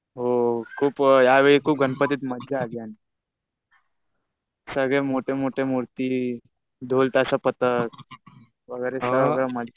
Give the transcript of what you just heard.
हो. या वेळो खूप गणपतीत मजा आली. सगळे मोठे मोठे मूर्ती, ढोल-ताशा पथक वगैरे सगळं मस्त